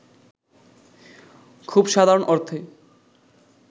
খুব সাধারণ অর্থে